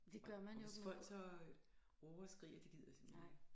Og og hvis folk så råber og skriger det gider jeg simpelthen ikke